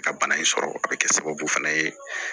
Ka bana in sɔrɔ a bɛ kɛ sababu fana ye